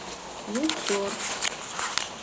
луксор